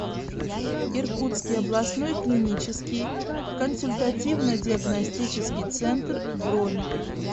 иркутский областной клинический консультативно диагностический центр бронь